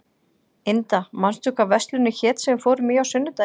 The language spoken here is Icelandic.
Inda, manstu hvað verslunin hét sem við fórum í á sunnudaginn?